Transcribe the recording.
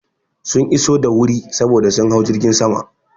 Sun iso da wuri saboda sun hau jirgin sama.